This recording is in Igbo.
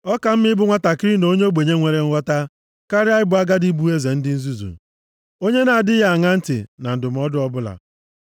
Ọ ka mma ịbụ nwantakịrị na onye ogbenye nwere nghọta karịa ịbụ agadi bụ eze ndị nzuzu, onye na-adịghị aṅa ntị na ndụmọdụ ọbụla.